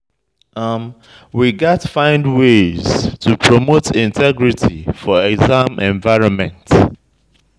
We gats find ways to promote integrity for exam environment.